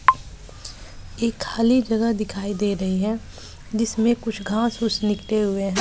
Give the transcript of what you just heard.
एक खाली जगह दिखाई दे रही है जिसमें कुछ घास फूस निकले हुए हैं।